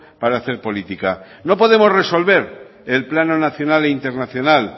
para hacer política no podemos resolver el plano nacional e internacional